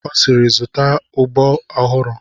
Ọ sịịrị, zụta ụbọ ọhụrụ!